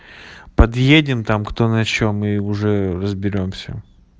подъедем там кто на чём и уже разберёмся